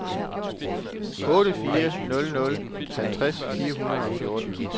otte fire nul nul halvtreds fire hundrede og fjorten